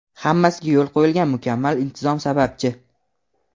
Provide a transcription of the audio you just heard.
Hammasiga yo‘lga qo‘yilgan mukammal intizom sababchi.